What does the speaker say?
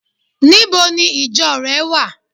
Níbo ni ìjo re wa?